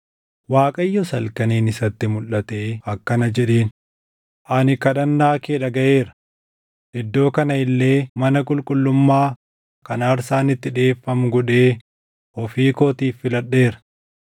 Waaqayyos halkaniin isatti mulʼatee akkana jedheen: “Ani kadhannaa kee dhagaʼeera; iddoo kana illee mana qulqullummaa kan aarsaan itti dhiʼeeffamu godhee ofii kootiif filadheera.